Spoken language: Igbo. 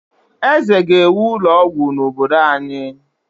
Eze ga-ewu ụlọ ọgwụ n’obodo anyị.